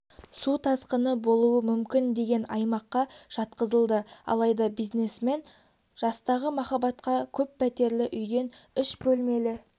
су тасқыны болуы мүмкін деген аймаққа жатқызылды алайда бизнесмен жастағы махаббатқа көппәтерлі үйден үш бөлмелі